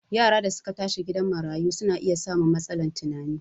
Yaran da su ka tashi a gidan marayu su na iya samun matsalan tunani